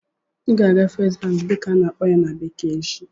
Ị ga-aga "First Bank" dịka a na-akpọ ya na bekee echi!